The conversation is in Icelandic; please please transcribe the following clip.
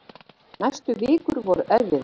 Næstu vikur voru erfiðar.